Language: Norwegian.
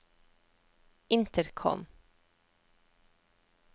intercom